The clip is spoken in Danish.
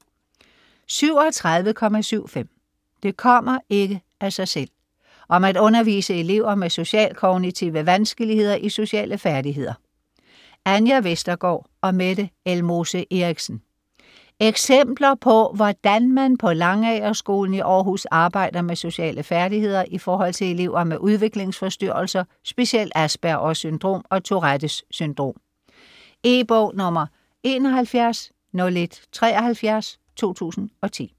37.75 Det kommer ikke af sig selv: om at undervise elever med socialkognitive vanskeligheder i sociale færdigheder Anja Vestergaard & Mette Elmose Eriksen Eksempler på hvordan man på Langagerskolen i Århus arbejder med sociale færdigheder i forhold til elever med udviklingsforstyrrelser, specielt Aspergers syndrom og Tourettes syndrom. E-bog 710173 2010.